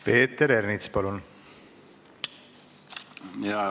Peeter Ernits, palun!